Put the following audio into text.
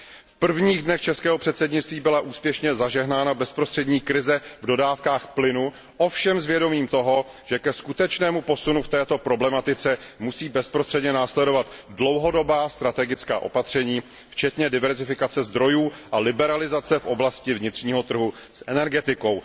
V prvních dnech českého předsednictví byla úspěšně zažehnána bezprostřední krize v dodávkách plynu, ovšem s vědomím toho, že aby došlo ke skutečnému posunu v této problematice, musí bezprostředně následovat dlouhodobá strategická opatření včetně diverzifikace zdrojů a liberalizace v oblasti vnitřního trhu s energetikou.